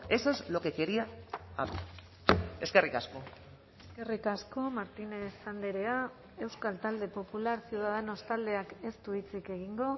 eso es lo que quería eskerrik asko eskerrik asko martínez andrea euskal talde popular ciudadanos taldeak ez du hitzik egingo